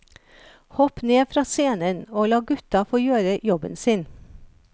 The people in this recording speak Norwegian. Hopp ned fra scenen og la gutta få gjøre jobben sin.